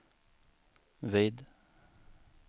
vid